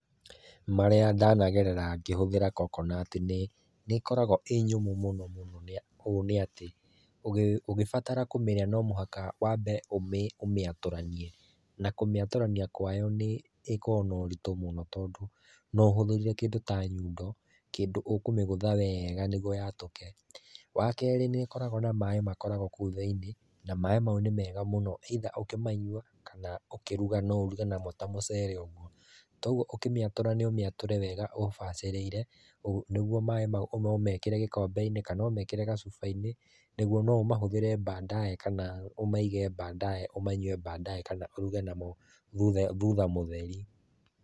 Marĩa ndanagerera ngĩhũthĩra Coconut nĩ nĩ ĩkoragwo íĩ nyũmũ mũno mũno ũũ nĩ atĩ ũgĩbatara kũmĩrĩa no nginya wambe ũmĩatũranie na kũmĩatũrania kwayo nĩ ĩkoragwo no uritũ mũno tondũ no ũhũthĩrire kĩndũ ta nyundo, kĩndũ ũkũmĩgũtha wega nĩguo yatũke. Wa kerĩ nĩ ĩkoragwo na maĩ makoragwo kũu thĩinĩ na maĩ mau nĩ mega mũno either ũkĩmanyua kana ũkĩruga no uruge namo ta mũcere ũguo, taũguo ũkĩmĩatũra nĩ ũmĩatũre wega ũbacĩrĩire nĩguo maĩ mau no ũmekĩre gĩkombe-inĩ kana ũmekĩre gacufa-inĩ nĩguo no ũmahũthĩre baadaye kana ũmaige baadaye ũmanyue baadaye kana ũruge namo thutha mũtheri.